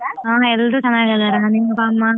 ಹಾ ಎಲ್ರೂ ಚೆನ್ನಾಗಿದ್ದಾರೆ .